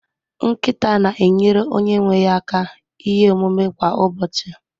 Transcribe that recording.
Nkịta na-enyere onye nwe ya aka ihe omume kwa ụbọchị